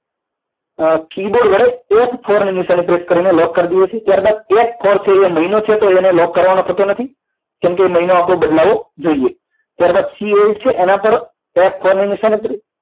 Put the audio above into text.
keyboard વડે F four નિશાની press કરો પ્રેસ કરીને લોક કરી દે છે ત્યારબાદ F four છે એ મહિનો છે તો એને લોક કરવાનું થતું નથી કેમકે મહિનો આપણો બદલાવો જોઈએ ત્યારબાદ C eight છે એના પર F four ની નિશાની